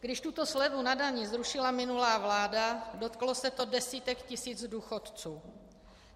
Když tuto slevu na dani zrušila minulá vláda, dotklo se to desítek tisíc důchodců.